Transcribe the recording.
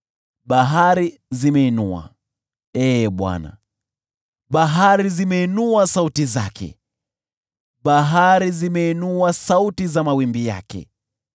Bahari zimeinua, Ee Bwana , bahari zimeinua sauti zake; bahari zimeinua sauti za mawimbi yake.